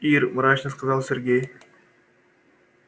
ир мрачно сказал сергей